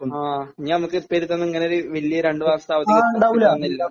ആഹ്. ഇനി നമുക്ക് ഇപ്പോൾ ഇരുന്ന് ഇങ്ങനൊരു വലിയ രണ്ട് മാസത്തെ അവധി കിട്ടുന്നില്ല.